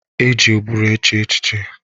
E ji ụbụrụ eche echiche.